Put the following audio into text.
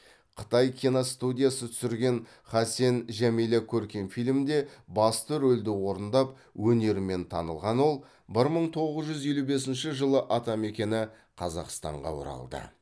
қытай киностудиясы түсірген хасен жәмила көркем фильмінде басты рөлді орындап өнерімен танылған ол бір мың тоғыз жүз елу бесінші жылы атамекені қазақстанға оралды